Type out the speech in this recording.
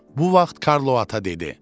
Bu vaxt Karlo ata dedi: